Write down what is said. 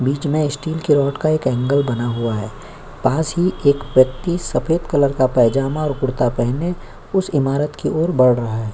बीच में स्टील की रोड का एक एंगल बना हुआ है। पास ही एक व्यक्ति सफेद कलर पायजामा और कुर्ता पहने उस इमारत की ओर बढ़ रहा है।